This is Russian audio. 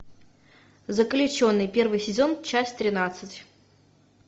заключенный первый сезон часть тринадцать